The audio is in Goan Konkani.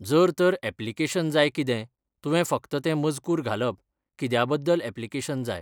जर तर एप्लीकेशन जाय कितें, तुवें फक्त तें मजकूर घालप, कित्या बद्दल एप्लीकेशन जाय.